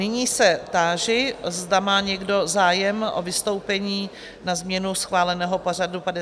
Nyní se táži, zda má někdo zájem o vystoupení na změnu schváleného pořadu 53. schůze?